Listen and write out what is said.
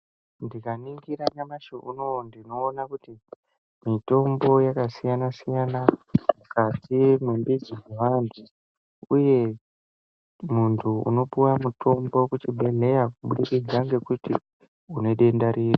Ndikaningira nyamashi unou ndiona kuti mitombo yakasiyana siyana mukati mwebichi dzeantu, uye muntu unopuwa mutombo kuchibhedhleya kubudikidza ngekuti une denda riri.